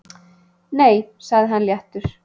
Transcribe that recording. Nei sagði hann léttur.